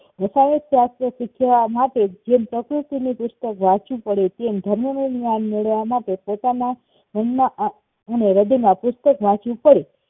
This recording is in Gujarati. રસાયણશાસ્ત્ર શીખ્યા માટે જેમ પ્રકૃતિ ની પ્રકૃતિનું પુસ્તક વાંચવું પડે તેમ ધર્મ નું જ્ઞાન મેળવવા માટે પોતાના મન માં અ અને હ્રદય માં પુસ્તક વાંચવું પડે